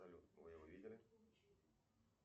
салют вы его видели